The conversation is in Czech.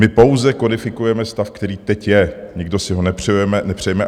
My pouze kodifikujeme stav, který teď je, nikdo si ho nepřejeme.